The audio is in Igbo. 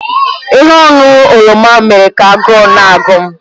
Ihe ọṅụṅụ oroma mere ka agụụ na-agụ m